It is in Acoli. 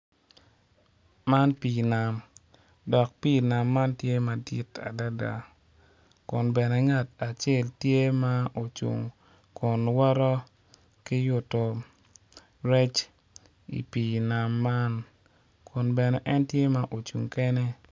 Man pii nam dok pii nam man tye madit adada kun bene ngat acel tye ma ocung kun woto ki yutu rec i pii nam man kun bene en tye ma ocung kene